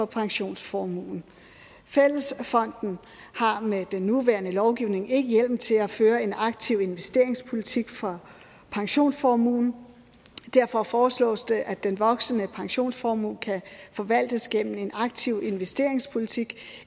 pensionsformuen fællesfonden har med den nuværende lovgivning ikke hjemmel til at føre en aktiv investeringspolitik for pensionsformuen derfor foreslås det at den voksende pensionsformue kan forvaltes gennem en aktiv investeringspolitik